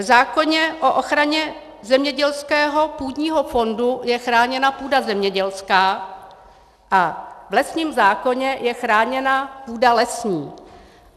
V zákoně o ochraně zemědělského půdního fondu je chráněna půda zemědělská a v lesním zákoně je chráněna půda lesní.